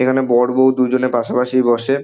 এখানে বর বৌ দুজনে পাশাপাশি বসে।